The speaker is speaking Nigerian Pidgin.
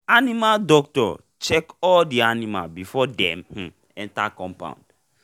animal doctor check all the the animal before dem um enter the coumpound